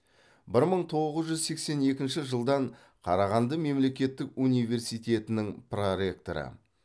бір мың тоғыз жүз сексен екінші жылдан қарағанды мемлекеттік университетінің проректоры